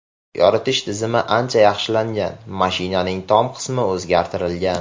Yoritish tizimi ancha yaxshilangan, mashinaning tom qismi o‘zgartirilgan.